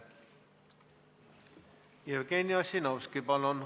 Jevgeni Ossinovski, palun!